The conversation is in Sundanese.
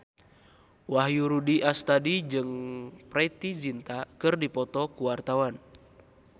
Wahyu Rudi Astadi jeung Preity Zinta keur dipoto ku wartawan